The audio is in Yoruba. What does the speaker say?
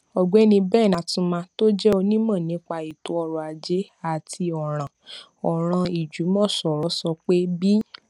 ògbéni ben atuma tó jé onímò nípa ètò ọrọ ajé àti òràn òràn ìjùmòsòrò sọ pé bí